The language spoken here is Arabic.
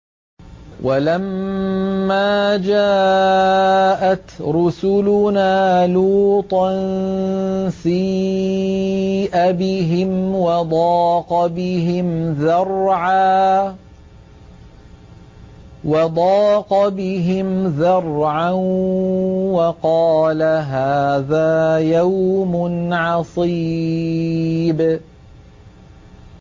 وَلَمَّا جَاءَتْ رُسُلُنَا لُوطًا سِيءَ بِهِمْ وَضَاقَ بِهِمْ ذَرْعًا وَقَالَ هَٰذَا يَوْمٌ عَصِيبٌ